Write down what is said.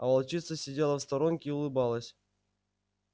а волчица сидела в сторонке и улыбалась